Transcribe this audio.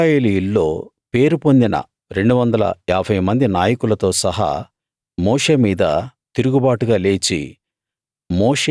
ఇశ్రాయేలీయుల్లో పేరు పొందిన 250 మంది నాయకులతో సహా మోషే మీద తిరుగుబాటుగా లేచి